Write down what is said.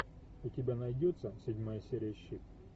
у тебя найдется седьмая серия щит